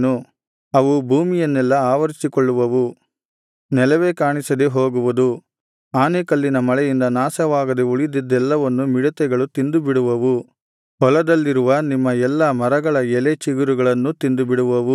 ಅವು ಭೂಮಿಯನ್ನೆಲ್ಲಾ ಆವರಿಸಿಕೊಳ್ಳುವವು ನೆಲವೇ ಕಾಣಿಸದೆ ಹೋಗುವುದು ಆನೆಕಲ್ಲಿನ ಮಳೆಯಿಂದ ನಾಶವಾಗದೆ ಉಳಿದಿದ್ದೆಲ್ಲವನ್ನು ಮಿಡತೆಗಳು ತಿಂದುಬಿಡುವವು ಹೊಲದಲ್ಲಿರುವ ನಿಮ್ಮ ಎಲ್ಲಾ ಮರಗಳ ಎಲೆ ಚಿಗುರುಗಳನ್ನೂ ತಿಂದುಬಿಡುವವು